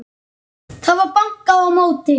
Það var bankað á móti.